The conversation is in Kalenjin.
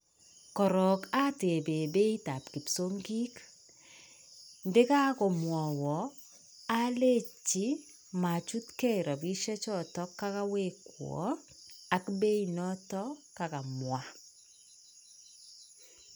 Korok atebe beit ab kipsongik. Nde kakomwawa alechi machutkei rapishiek chotok kakowekwo ak beit notok kakomwa.